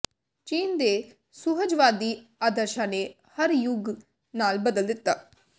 ਚੀਨ ਦੇ ਸੁਹਜਵਾਦੀ ਆਦਰਸ਼ਾਂ ਨੇ ਹਰ ਯੁੱਗ ਨਾਲ ਬਦਲ ਦਿੱਤਾ